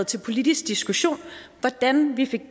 til politisk diskussion hvordan vi kan